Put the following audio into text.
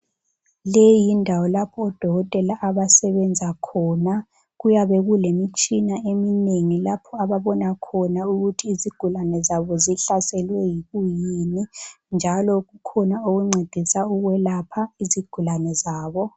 Leyi yindawo lapho odokotela abasebenza khona. Kuyabe kulemitshina eminengi lapho ababona khona ukuthi izigulane zabo zihlaselwe yikuyini njalo kukhona okuncedisa ukwelapha izigulane zabo.